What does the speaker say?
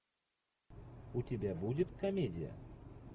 у тебя будет комедия